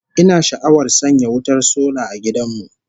Ina sha'awar sanya wutar sola a gidan mu